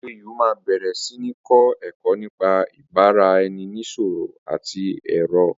OAU máa bẹ̀rẹ̀ sí ní kọ́ ẹ̀kọ́ nípa ìbára ẹni nisọ̀rọ̀ ti èrò